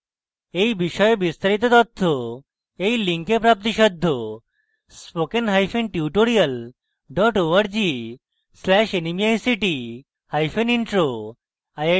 এই বিষয়ে বিস্তারিত তথ্য এই link প্রাপ্তিসাধ্য http:// spokentutorial org/nmeictintro